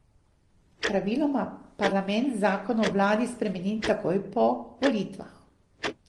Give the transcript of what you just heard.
Praviloma parlament zakon o vladi spremeni takoj po volitvah.